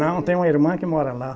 Não, tenho uma irmã que mora lá.